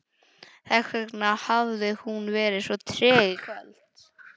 Þessvegna hafði hún verið svo treg í kvöld.